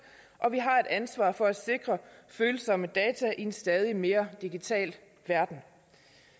og vi har et ansvar for at sikre følsomme data i en stadig mere digital verden